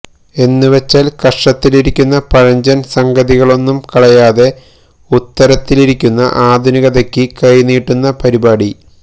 എന്നുവെച്ചാൽ കക്ഷത്തിലിരിക്കുന്ന പഴഞ്ചൻ സംഗതികളൊന്നും കളയാതെ ഉത്തരത്തിലിരിക്കുന്ന ആധുനികതയ്ക്ക് കൈനീട്ടുന്ന പരിപാടി